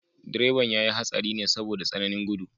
Direban ya yi hatsari ne saboda tsananin gudu.